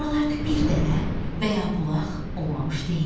Buralarda bir dərə və ya bulaq olmamış deyildi.